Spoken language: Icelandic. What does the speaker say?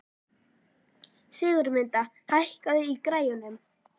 Sigurmunda, hækkaðu í græjunum.